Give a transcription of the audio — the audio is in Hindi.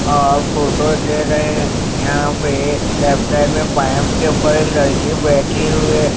और फोटो ले रहे हैं यहां पे लेफ्ट साइड में पाइप के ऊपर एक लड़की बैठी हुई है।